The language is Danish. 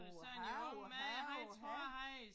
Uha uha uha